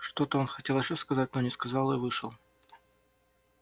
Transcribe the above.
что-то он хотел ещё сказать но не сказал и вышел